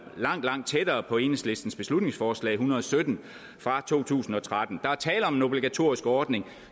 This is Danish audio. langt langt tættere på enhedslistens beslutningsforslag hundrede og sytten fra to tusind og tretten der er tale om en obligatorisk ordning